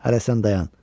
Hərə sən dayan!